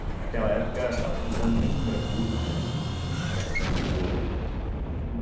que naquela época estava se usando muito mercúrio, né, na extração de ouro.